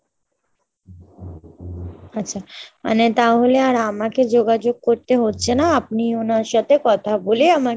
আচ্ছা, মানে তাহলে আর আমাকে যোগাযোগ করতে হচ্ছে না আপনি ওনার সাথে কথা বলে আমাকে